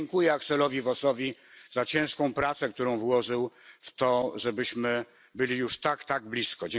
I dziękuję Axelowi Vossowi za ciężką pracę, którą włożył w to, żebyśmy byli już tak, tak blisko.